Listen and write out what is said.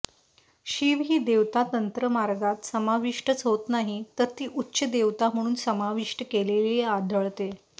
शिव ही देवता तंत्रमार्गात समाविष्टच होत नाही तर ती उच्च देवता म्हणुन समाविष्ट केलेली आढळते